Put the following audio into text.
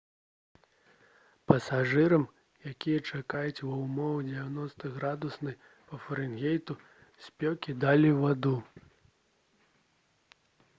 пасажырам якія чакаюць ва ўмовах 90-градуснай па фарэнгейту спёкі далі ваду